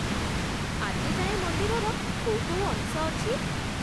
ଆଜି ଯାଏଁ ମନ୍ଦିରର କୋଉ କୋଉ ଅଂଶ ଅଛି?